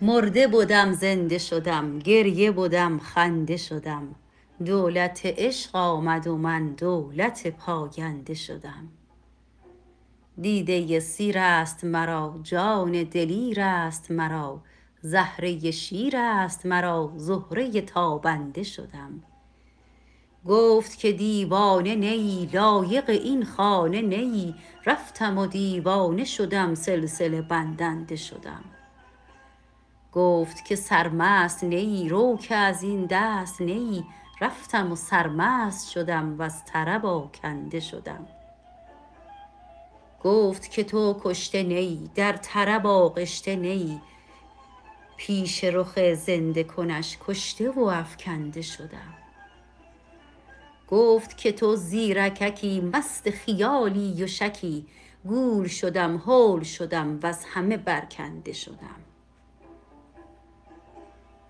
مرده بدم زنده شدم گریه بدم خنده شدم دولت عشق آمد و من دولت پاینده شدم دیده سیر است مرا جان دلیر است مرا زهره شیر است مرا زهره تابنده شدم گفت که دیوانه نه ای لایق این خانه نه ای رفتم دیوانه شدم سلسله بندنده شدم گفت که سرمست نه ای رو که از این دست نه ای رفتم و سرمست شدم وز طرب آکنده شدم گفت که تو کشته نه ای در طرب آغشته نه ای پیش رخ زنده کنش کشته و افکنده شدم گفت که تو زیرککی مست خیالی و شکی گول شدم هول شدم وز همه برکنده شدم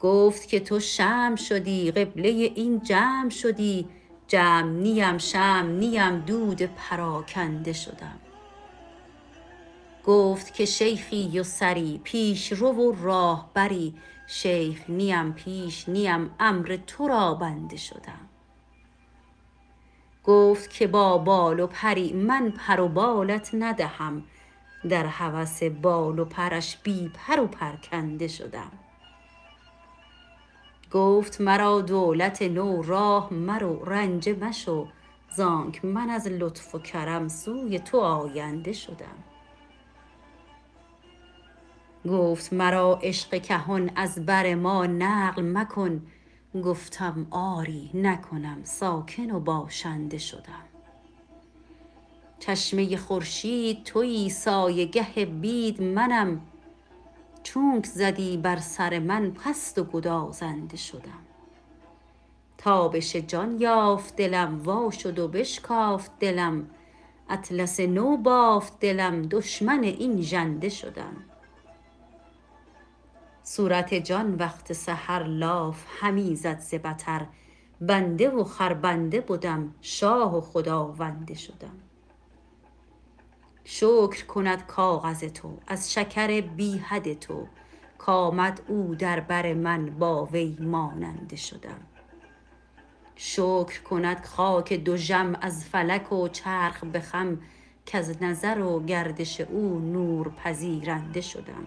گفت که تو شمع شدی قبله این جمع شدی جمع نیم شمع نیم دود پراکنده شدم گفت که شیخی و سری پیش رو و راهبری شیخ نیم پیش نیم امر تو را بنده شدم گفت که با بال و پری من پر و بالت ندهم در هوس بال و پرش بی پر و پرکنده شدم گفت مرا دولت نو راه مرو رنجه مشو زانک من از لطف و کرم سوی تو آینده شدم گفت مرا عشق کهن از بر ما نقل مکن گفتم آری نکنم ساکن و باشنده شدم چشمه خورشید تویی سایه گه بید منم چونک زدی بر سر من پست و گدازنده شدم تابش جان یافت دلم وا شد و بشکافت دلم اطلس نو بافت دلم دشمن این ژنده شدم صورت جان وقت سحر لاف همی زد ز بطر بنده و خربنده بدم شاه و خداونده شدم شکر کند کاغذ تو از شکر بی حد تو کآمد او در بر من با وی ماننده شدم شکر کند خاک دژم از فلک و چرخ به خم کز نظر و گردش او نور پذیرنده شدم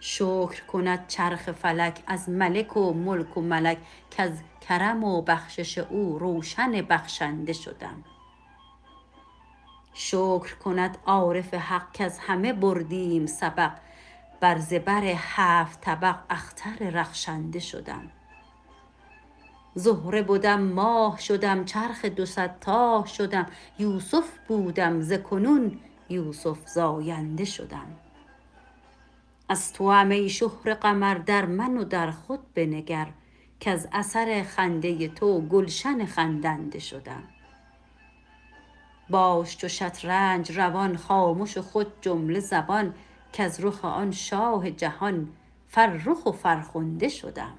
شکر کند چرخ فلک از ملک و ملک و ملک کز کرم و بخشش او روشن بخشنده شدم شکر کند عارف حق کز همه بردیم سبق بر زبر هفت طبق اختر رخشنده شدم زهره بدم ماه شدم چرخ دو صد تاه شدم یوسف بودم ز کنون یوسف زاینده شدم از توام ای شهره قمر در من و در خود بنگر کز اثر خنده تو گلشن خندنده شدم باش چو شطرنج روان خامش و خود جمله زبان کز رخ آن شاه جهان فرخ و فرخنده شدم